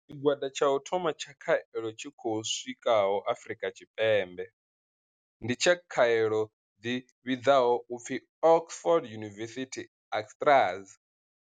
Tshigwada tsha u thoma tsha khaelo tshi khou swikaho Afrika Tshipembe ndi tsha khaelo dzi vhidzwaho u pfi Oxford University-AstraZ.